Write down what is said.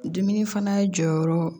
Dumuni fana jɔyɔrɔ